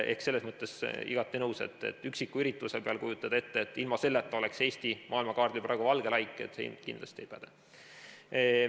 Selles mõttes olen igati nõus, et kui kujutada ette, nagu ilma selle üksiku ürituseta oleks Eesti maailmakaardil praegu valge laik, siis see kindlasti ei päde.